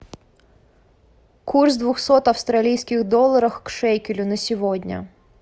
курс двухсот австралийских долларов к шекелю на сегодня